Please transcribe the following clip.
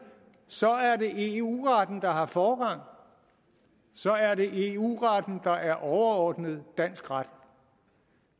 så er det eu retten der har forrang og så er det eu retten der er overordnet dansk ret